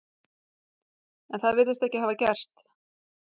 En það virðist ekki hafa gerst.